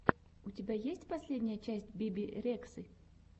у тебя есть последняя часть биби рексы